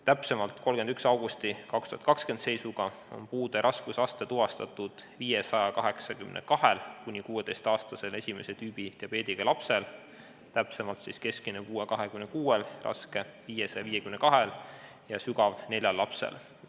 Täpsemalt, 31. augusti 2020 seisuga on puude raskusaste tuvastatud 582-l kuni 16-aastasel esimest tüüpi diabeediga lapsel: keskmine puue on 26, raske 552 ja sügav neljal lapsel.